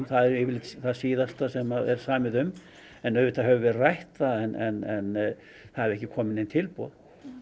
eru yfirleitt það síðasta sem er samið um auðvitað höfum við rætt það en það er ekki komið nein tilboð